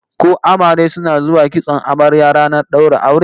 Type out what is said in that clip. Ko amare suna zuwa kitson amarya ranar daura aure?